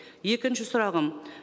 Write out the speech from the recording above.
екінші сұрағым